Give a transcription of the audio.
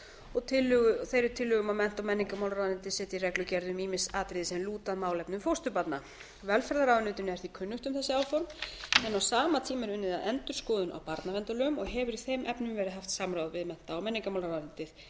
og þeirri tillögu um að mennta og menningarmálaráðuneytið setji reglugerð um ýmis atriði sem lúta að málefnum fósturbarna velferðarráðuneytinu er því kunnugt um þessi áform en á sama tíma er unnið að endurskoðun á barnaverndarlögum og hefur í þeim efnum verið haft samráð við mennta og menningarmálaráðuneytið það